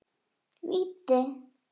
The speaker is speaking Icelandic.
Víti!